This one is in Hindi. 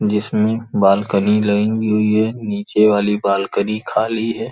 जिसमें बालकनी लगी हुई है नीचे वाली बालकनी खाली है।